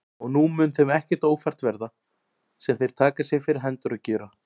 Og nú mun þeim ekkert ófært verða, sem þeir taka sér fyrir hendur að gjöra.